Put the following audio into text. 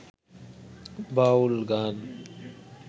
বাউল গান